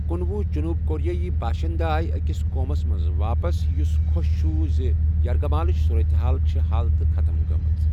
کُنۄُہ جنوٗبی کوریٲئی باشنٛدٕ آیہِ أکِس قومَس منٛز واپس یُس خۄش چھُ زِ یَرغِمالٕچ صورتحال چھِ حل تہٕ ختٕم گٔمٕژ۔